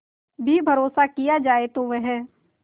भी भरोसा किया जाए तो वह